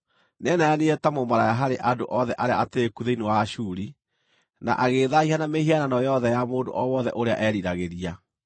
Nĩeneanire ta mũmaraya harĩ andũ othe arĩa atĩĩku thĩinĩ wa Ashuri, na agĩĩthaahia na mĩhianano yothe ya mũndũ o wothe ũrĩa eeriragĩria.